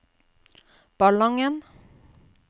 Ballangen